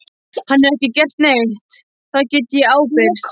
Hann hefur ekki gert neitt, það get ég ábyrgst.